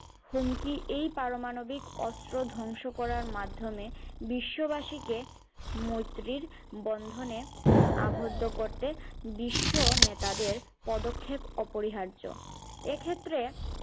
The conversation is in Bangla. হুমকি এই পারমাণবিক অস্ত্র ধ্বংস করার মাধ্যমে বিশ্ববাসী কে মৈত্রীর বন্ধনে আবদ্ধ করতে বিশ্ব নেতাদের পদক্ষেপ অপরিহার্য এক্ষেত্রে